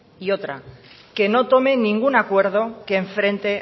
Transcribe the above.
y otra que no tome ningún acuerdo que enfrente